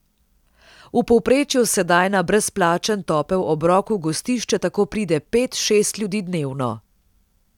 V povprečju sedaj na brezplačen topel obrok v gostišče tako pride pet, šest ljudi dnevno.